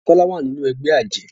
Tola wá nínú ègbé ajé.